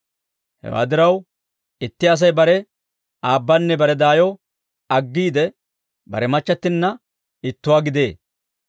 Hewaa diraw, itti Asay bare aabbanne bare daayo aggiide, bare machchattinna ittuwaa gidee;